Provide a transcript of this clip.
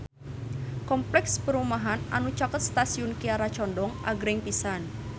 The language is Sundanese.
Kompleks perumahan anu caket Stasiun Kiara Condong agreng pisan